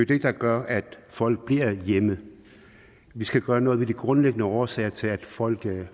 det der gør at folk bliver hjemme vi skal gøre noget ved de grundlæggende årsager til at folk